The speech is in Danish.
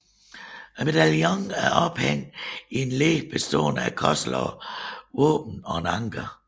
Medaljonen er ophængt i et led bestående af korslagte våben og et anker